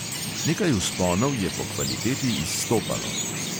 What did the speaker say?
Nekaj vzponov je po kvaliteti izstopalo.